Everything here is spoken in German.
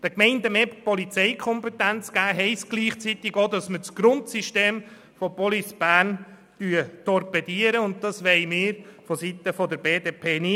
Den Gemeinden mehr Polizeikompetenz zu geben, heisst gleichzeitig, das Grundsystem von Police Bern zu torpedieren, und das wollen wir seitens der BDP nicht.